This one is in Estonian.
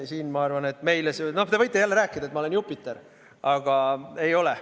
Siin, ma arvan, te võite jälle rääkida, et ma olen Jupiter, aga ei ole.